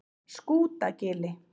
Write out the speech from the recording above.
Skútagili